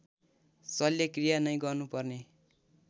शल्यक्रिया नै गर्नुपर्ने